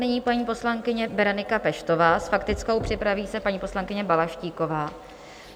Nyní paní poslankyně Berenika Peštová s faktickou, připraví se paní poslankyně Balaštíková.